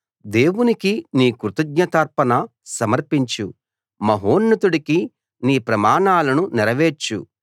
దేవునికి నీ కృతజ్ఞతార్పణ సమర్పించు మహోన్నతుడికి నీ ప్రమాణాలను నెరవేర్చు